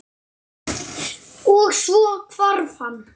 Og- svo hvarf hann.